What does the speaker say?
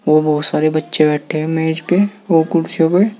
वो बहुत सारे बच्चे बैठे हैं मेज पे और कुर्सियों पे।